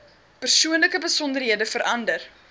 persoonlike besonderhede verander